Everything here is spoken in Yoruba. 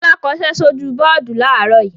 Fọlá kọṣẹ́ sójú bọ́ọ́dù láàárọ̀ yìí.